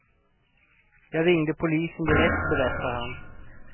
Jag ringde polisen direkt, berättar han.